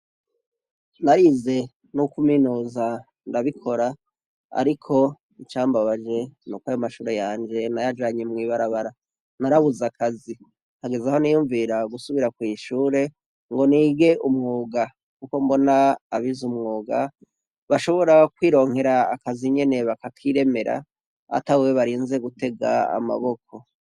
Narize n’ukuminuza ndabikora ariko icambabaje nuko ayo mashure yanje nayajanye mubarabara, narabuze akazi kugezaho niyvvumvira gusubira kwishure ngo nige umwuga kuko mbona abize umwuga bashobora kwironkera akazi nyene bakakiremera atawe barinze gutega amaboko.